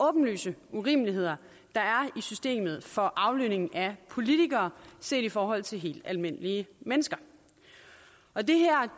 åbenlyse urimeligheder der er i systemet for aflønning af politikere set i forhold til helt almindelige mennesker og det her